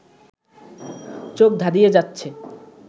চোখ ধাঁধিয়ে যাচ্ছে